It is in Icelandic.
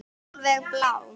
Alveg blá.